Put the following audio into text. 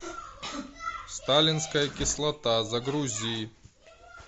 сталинская кислота загрузи